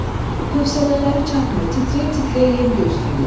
Hövsələləri çatmır, titrəyə-titrəyə yem gözləyirlər.